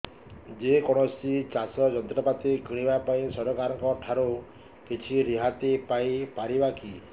ଯେ କୌଣସି ଚାଷ ଯନ୍ତ୍ରପାତି କିଣିବା ପାଇଁ ସରକାରଙ୍କ ଠାରୁ କିଛି ରିହାତି ପାଇ ପାରିବା କି